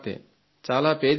చాలా పేదింటి పిల్ల